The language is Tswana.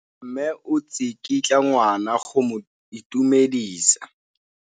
Mme o tsikitla ngwana go mo itumedisa.